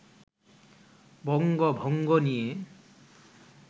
বঙ্গভঙ্গ নিয়ে